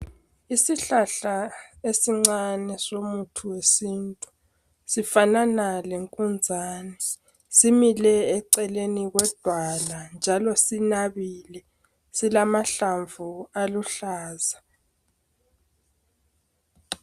Isihlahla esincane somuthi wesintu. Sifanana lenkunzane. Simile eceleni kwedwala njalo sinabile. Silamahlamvu aluhlaza.